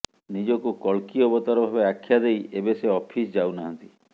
ନିଜକୁ କଳ୍କୀ ଅବତାର ଭାବେ ଆଖ୍ୟା ଦେଇ ଏବେ ସେ ଅଫିସ୍ ଯାଉନାହାନ୍ତି